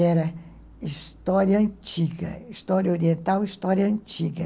Era história antiga, história oriental, história antiga.